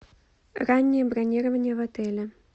раннее бронирование в отеле